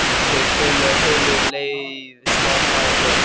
Þeir töluðu og töluðu og leið smám saman betur.